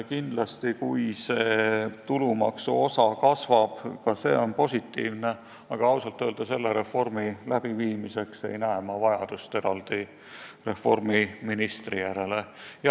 Kindlasti, kui see tulumaksuosa kasvab, on ka see positiivne, aga ausalt öelda selle reformi elluviimiseks ma ei näe vajadust eraldi ministri järele.